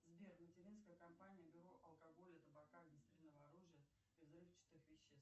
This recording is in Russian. сбер материнская компания бюро алкоголя табака огнестрельного оружия и взрывчатых веществ